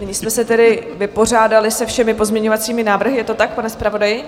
Tím jsme se tedy vypořádali se všemi pozměňovacími návrhy, je to tak, pane zpravodaji?